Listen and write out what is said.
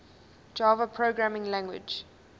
java programming language